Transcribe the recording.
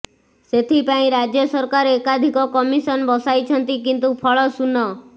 ସେଥିପାଇଁ ରାଜ୍ୟ ସରକାର ଏକାଧିକ କମିଶନ ବସାଇଛନ୍ତି କିନ୍ତୁ ଫଳ ଶୂନ